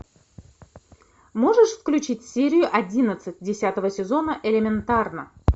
можешь включить серию одиннадцать десятого сезона элементарно